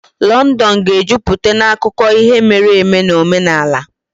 Londonu ga-ejupụta na akụkọ ihe mere eme na omenala.